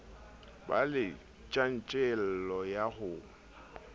be le tjantjello ya ho